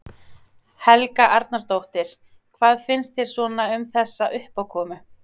Helga Arnardóttir: Hvað fannst þér svona um þessa uppákomu?